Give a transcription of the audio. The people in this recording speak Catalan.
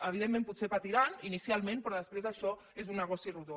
evidentment potser patiran inicialment però després això és un negoci rodó